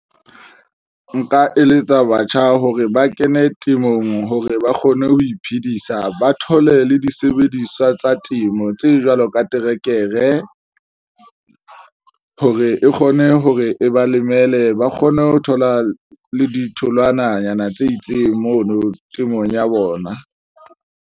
Nka eletsa batjha hore ba kene temong hore ba kgone ho iphedisa, ba thole le disebediswa tsa temo tse jwalo ka trekere hore e kgone hore e ba lemele, ba kgone ho thola le ditholwananyana tse itseng mono temong ya bona.